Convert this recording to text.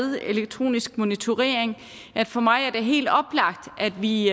elektronisk monitorering at for mig er det helt oplagt at vi